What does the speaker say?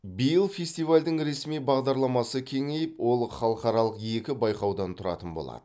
биыл фестивальдің ресми бағдарламасы кеңейіп ол халықаралық екі байқаудан тұрады болады